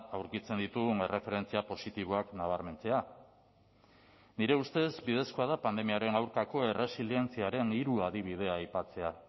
aurkitzen ditugun erreferentzia positiboak nabarmentzea nire ustez bidezkoa da pandemiaren aurkako erresilientziaren hiru adibidea aipatzea